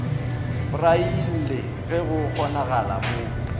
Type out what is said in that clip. braille ge go kgonagala mo